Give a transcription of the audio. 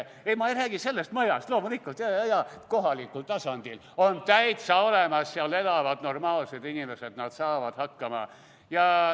Ei, ma ei räägi sellest majast, loomulikult, jaa, kohalikul tasandil on see täiesti olemas, seal elavad normaalsed inimesed, nad saavad hakkama.